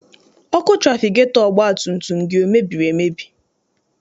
Ọkụ trafigetọ ọgbatumtum gị emebiri emebi?